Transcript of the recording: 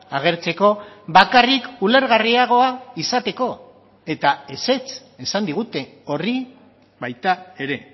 agertzeko bakarrik ulergarriagoa izateko eta ezetz esan digute horri baita ere